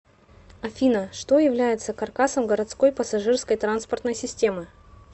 афина что является каркасом городской пассажирской транспортной системы